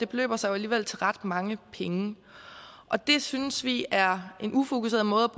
beløber sig jo alligevel til ret mange penge og det synes vi er en ufokuseret måde